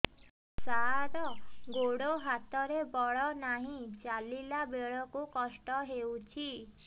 ସାର ଗୋଡୋ ହାତରେ ବଳ ନାହିଁ ଚାଲିଲା ବେଳକୁ କଷ୍ଟ ହେଉଛି